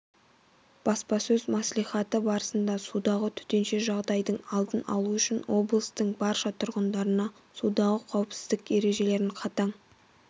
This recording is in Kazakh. баспасөз мәслихаты барысында судағы төтенше жағдайдың алдын алу үшін облыстың барша тұрғындарына судағы қауіпсіздік ережелерін қатаң